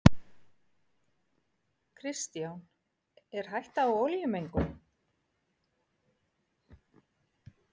Kristján: Er hætta á olíumengun?